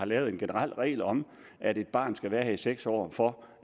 lavet en generel regel om at et barn skal have været her i seks år for